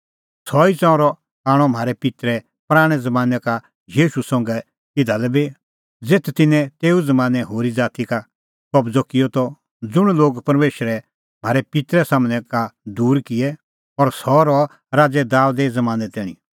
सह ई ताम्बू आणअ म्हारै पित्तरै पराणैं ज़मानैं का यहोशू संघै इधा लै बी ज़ेथ तिन्नैं तेऊ ज़मानैं होरी ज़ाती दी कबज़अ किअ त ज़ुंण लोग परमेशरै म्हारै पित्तरे सम्हनै का दूर किऐ और सह रह राज़ै दाबेदे ज़मानैं तैणीं